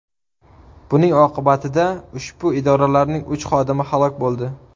Buning oqibatida ushbu idoralarning uch xodimi halok bo‘ldi.